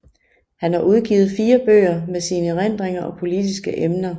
Han har udgivet fire bøger med sine erindringer og politiske emner